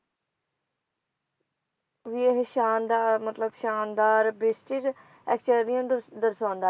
ਵੀ ਓਹੋ ਸ਼ਾਨਦਾਰ ਮਤਲਬ ਸ਼ਾਨਦਾਰ ਦਰਸ਼ਾਉਂਦੀ